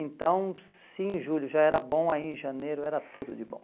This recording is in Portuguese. Então, sim, julho já era bom, aí em janeiro era tudo de bom.